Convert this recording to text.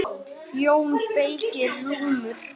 JÓN BEYKIR: Rúmur!